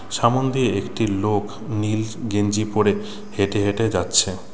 সামোন দিয়ে একটি লোক নীল গেঞ্জি পড়ে হেঁটে হেঁটে যাচ্ছে।